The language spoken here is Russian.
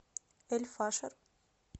эль фашер